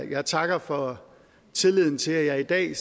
jeg takker for tilliden til at jeg i dag